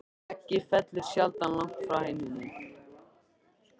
Að eggið fellur sjaldan langt frá hænunni!